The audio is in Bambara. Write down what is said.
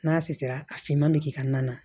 N'a susisira a finman bɛ k'i ka na na